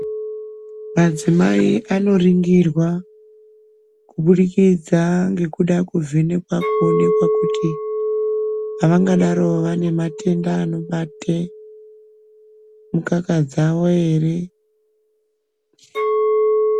Madzimai anorindirwa kubudikidza ngekuda kuvhenekwa kuonekwa kuti avangadaro vane matenda anobate mukaka dzavo ere .